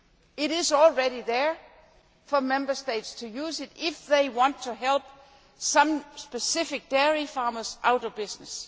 It is already there for Member States to use if they want to help specific dairy farmers out of business.